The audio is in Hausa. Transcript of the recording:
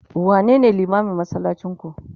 wane ne limamin masallacin ku?